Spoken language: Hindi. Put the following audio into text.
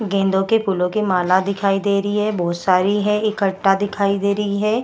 गेंदों के फूलो की माला दिखाई दे रही है बहुत सारी है इकट्ठा दिखाई दे रही है।